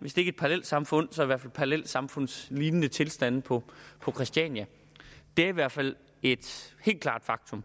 hvis ikke et parallelsamfund så i hvert fald parallelsamfundslignende tilstande på christiania det er i hvert fald et helt klart faktum